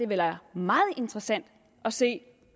være meget interessant at se